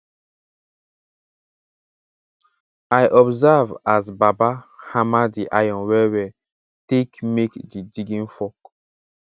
i observe as baba hammer di iron well well take make di digging fork